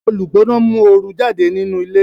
Olugbona nmu ooru jáde nínú ilé